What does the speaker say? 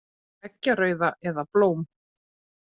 Eggjarauða, eða blóm.